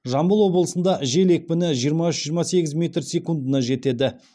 жамбыл облысында жел екпіні жиырма үш жиырма сегіз метр секундына жетеді